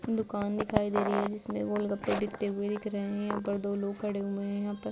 दुकान दिखाई दे रही है जिसमे गोलगप्पे बिकते हुए दिख रहें हैं| ऊपर दो लोग खड़े हुए है। ऊपर --